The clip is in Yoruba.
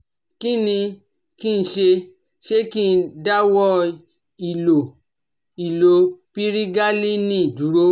Kí ni kí n ṣe, ṣé kí n dáwọ́ ìlo ìlo pirigalíìnì dúró?